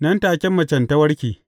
Nan take macen ta warke.